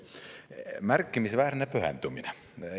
Märkimisväärne pühendumine.